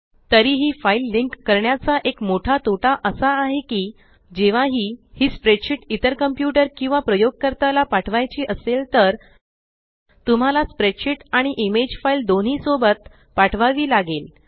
तरीही file link करण्याचा एक मोठा तोटा असा आहे की जेव्हाही ही स्प्रेडशीट इतर कंप्यूटर किंवा प्रयोगकर्ता ला पाठवायची असेल तर तुम्हाला स्प्रेडशीट आणि इमेज फाइल दोन्ही सोबत पाठवावी लागेल